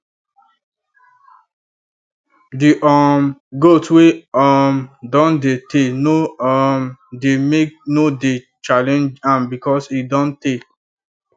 the um goat wey um don dey tey no um dey them no dey challenge am because e don tey